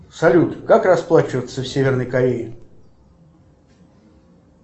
салют как расплачиваться в северной корее